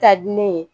Ka di ne ye